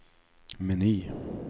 meny